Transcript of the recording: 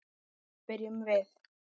spyrjum við.